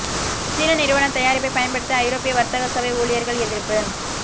சீன நிறுவன தயாரிப்பைப் பயன்படுத்த ஐரோப்பிய வர்த்தக சபை ஊழியர்கள் எதிர்ப்பு